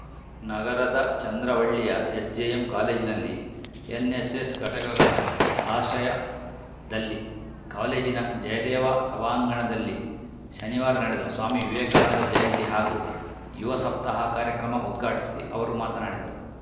ನಗರದ ಚಂದ್ರವಳ್ಳಿಯ ಎಸ್‌ಜೆಎಂ ಕಾಲೇಜಿನಲ್ಲಿ ಎನ್‌ಎಸ್‌ಎಸ್‌ ಘಟಕಗಳ ಆಶ್ರಯದಲ್ಲಿ ಕಾಲೇಜಿನ ಜಯದೇವ ಸಭಾಂಗಣದಲ್ಲಿ ಶನಿವಾರ ನಡೆದ ಸ್ವಾಮಿ ವಿವೇಕಾನಂದ ಜಯಂತಿ ಹಾಗೂ ಯುವ ಸಪ್ತಾಹ ಕಾರ್ಯಕ್ರಮ ಉದ್ಘಾಟಿಸಿ ಅವರು ಮಾತನಾಡಿದರು